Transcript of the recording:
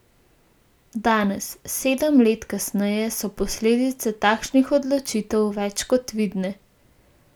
Danes, sedem let kasneje, so posledice takšnih odločitev več kot vidne.